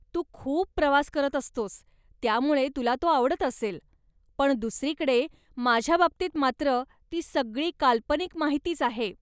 तू खूप प्रवास करत असतोस, त्यामुळं तुला तो आवडत असेल, पण दुसरीकडे, माझ्या बाबतीत मात्र ती सगळी काल्पनिक माहितीच आहे.